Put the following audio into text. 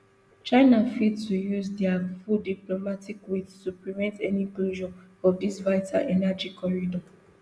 china fit to use dia full diplomatic weight to prevent any closure of dis vital energy corridor